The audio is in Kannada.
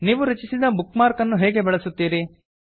ನೀವು ರಚಿಸಿದ ಬುಕ್ ಮಾರ್ಕ್ ಅನ್ನು ಹೇಗೆ ಬಳಸುತ್ತೀರಿ